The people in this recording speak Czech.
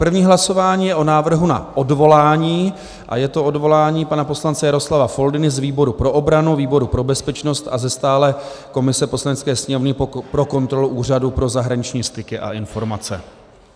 První hlasování je o návrhu na odvolání a je to odvolání pana poslance Jaroslava Foldyny z výboru pro obranu, výboru pro bezpečnost a ze stálé komise Poslanecké sněmovny pro kontrolu Úřadu pro zahraniční styky a informace.